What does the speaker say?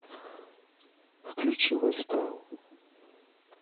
включи лайфстайл